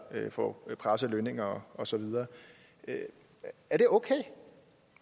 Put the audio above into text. få presset lønninger og så videre er det okay